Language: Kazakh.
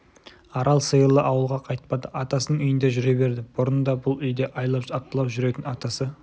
арал сиырлы ауылға қайтпады атасының үйінде жүре берді бұрын да бұл үйде айлап апталап жүретін атасы